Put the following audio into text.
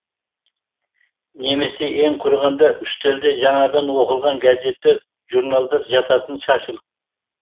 немесе ең құрығанда үстелде жаңадан оқылған газеттер журналдар жататын шашылып